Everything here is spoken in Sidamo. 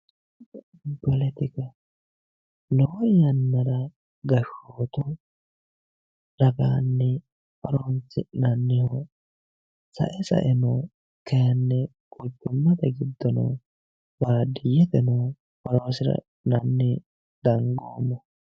Poletika lowo yannara gashootu ragaani horonisi'nni sae saeno kayinni quchumate giddono baadiyyeteno hawassira ha'nqnni danigoomo